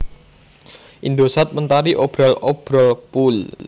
Indosat Mentari Obral Obrol Pool